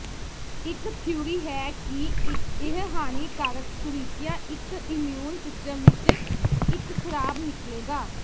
ਇੱਕ ਥਿਊਰੀ ਹੈ ਕਿ ਇਹ ਹਾਨੀਕਾਰਕ ਸੁਰੀਕੀਆਂ ਇੱਕ ਇਮਿਊਨ ਸਿਸਟਮ ਵਿੱਚ ਇੱਕ ਖਰਾਬ ਨਿਕਲੇਗਾ